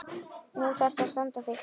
Nú þarftu að standa þig.